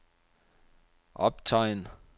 optegn